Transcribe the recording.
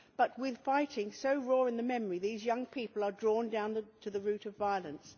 but with fighting so raw in the memory, these young people are drawn down the route of violence.